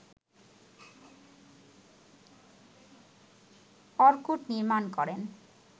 Orkut নির্মাণ করেন